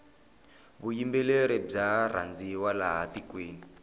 vuyimbeleri bya rhandziwa laha tikweni